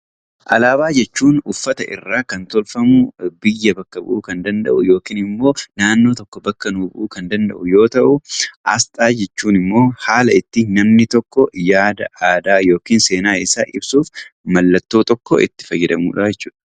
Alaabaa jechuun uffata irraa kan tolfamu, biyya bakka bu'uu kan danda'u yookiin immoo naannoo tokko bakka nu bu'uu kan danda'u yoo ta'u, Asxaa jechuun immoo haala ittiin namni tokko yaada, aadaa yookiis seenaa isaa ibsuuf mallattoo tokko itti fayyadamudha jechuudha.